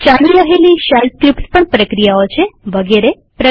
ચાલી રહેલી shell scripts પ્રક્રિયાઓ છે વગેરે વગેરે